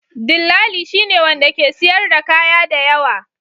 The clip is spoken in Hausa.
Dillali shine wanda ke siyar da kaya da yawa.